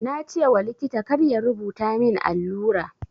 Na ce wa likita kar ya rubuta min allura.